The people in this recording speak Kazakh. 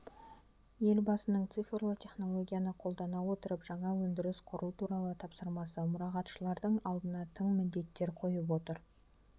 елбасының цифрлы технологияны қолдана отырып жаңа өндіріс құру туралы тапсырмасы мұрағатшылардың алдына тың міндеттер қойып отыр